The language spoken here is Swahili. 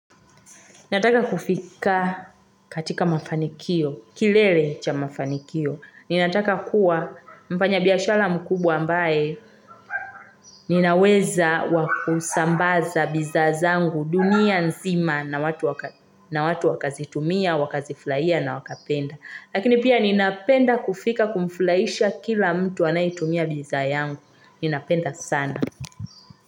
Nataka kufika katika mafanikio, kilele cha mafanikio. Ninataka kuwa mpanya biashara mkubwa ambaye ninaweza wa kusambaza bizaa zangu dunia nzima na watu wakazitumia, wakaziflaia na wakapenda. Lakini pia ninapenda kufika kumflaisha kila mtu anayetumia bizaa yangu. Ninapenda sana.